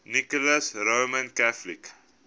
nicholas roman catholic